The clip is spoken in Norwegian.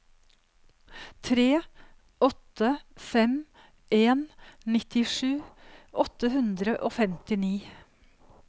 tre åtte fem en nittisju åtte hundre og femtini